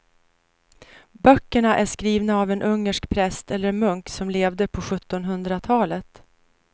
Böckerna är skrivna av en ungersk präst eller munk som levde på sjuttonhundratalet.